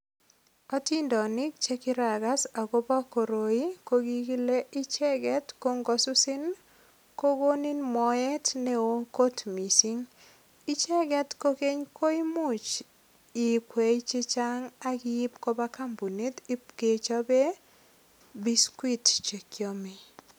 Atondonik che kiragas agobo koroi ko kikile icheget ko ngosusin ko koninin moet neo kot mising. Icheget kokeny ko imuch iikwai chechang ak iip koba kambunit ipkechope biskit che kiame.